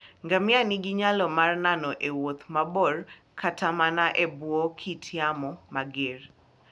Ngamia nigi nyalo mar nano e wuoth mabor kata mana e bwo kit yamo mager.